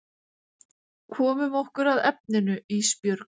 Komum okkur að efninu Ísbjörg.